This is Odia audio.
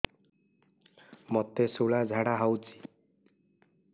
ମୋତେ ଶୂଳା ଝାଡ଼ା ହଉଚି